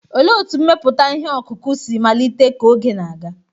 Olee otú mmepụta ihe ọkụkụ si malite ka oge na-aga?